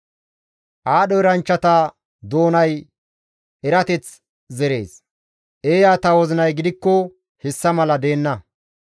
Aadho eranchchata doonay erateth zerees; eeyata wozinay gidikko hessa mala deenna.